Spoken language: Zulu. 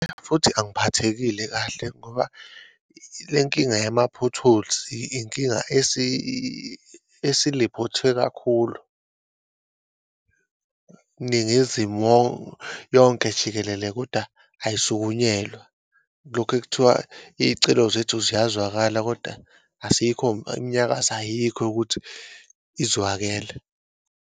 Futhi angiphathekile kahle ngoba lenkinga yama-potholes inkinga esiliphothwe kakhulu, Ningizimu yonke jikelele, kodwa ayisukunyelwa. Lokhu kuthiwa iyicelo zethu ziyazwakala, kodwa asikho imnyakazo ayikho yokuthi izwakele.